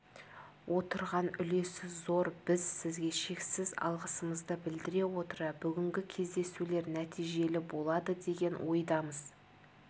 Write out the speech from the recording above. отырған үлесі зор біз сізге шексіз алғысымызды білдіре отыра бүгінгі кездесулер нәтижелі болады деген ойдамыз